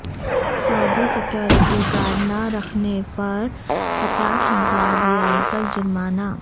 سعودی security guard نہ رکھنے پر پچاس ہزار ریال تک جرمانہ